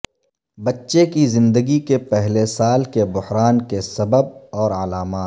بچے کی زندگی کے پہلے سال کے بحران کے سبب اور علامات